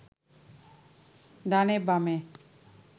ডানে বামে